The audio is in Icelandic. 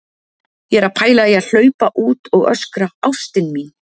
Ég er að pæla í að hlaupa út og öskra: ÁSTIN MÍN!